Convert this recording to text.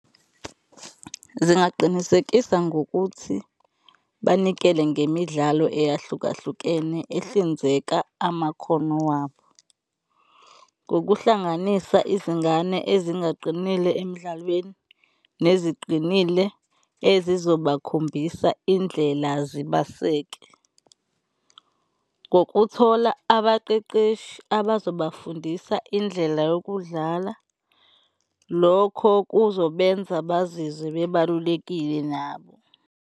Zingaqinisekisa ngokuthi banikele ngemidlalo eyahlukahlukene ehlinzeka amakhono wabo ngokuhlanganisa izingane ezingaqinile emdlalweni neziqinile ezizobakhombisa indlela zibaseke. Ngokuthola abaqeqeshi abazobafundisa indlela yokudlala, lokho kuzobenza bazizwe bebalulekile nabo.